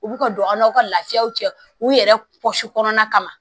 U bi ka don an n'aw ka lafiyaw cɛ u yɛrɛ kɔsi kɔnɔna kama